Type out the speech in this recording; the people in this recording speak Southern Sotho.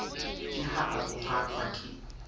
ke ha a rohakwa ka